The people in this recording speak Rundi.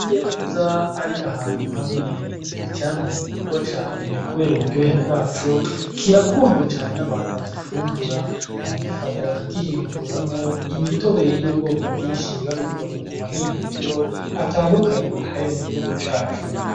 Amabungo ahiye neza ari ahantu hamwe, n'icamwa gikundwa cane kubera uburyohe bwaco, kirakundwa cane n'abantu bagifungura, baragifata bakagihinguramwo imitobe y'ubwoko bwinshi babikoreye mu m'amahinguriro atandukanye ari mu gihugu cacu.